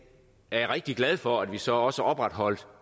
er jeg rigtig glad for at vi så også opretholdt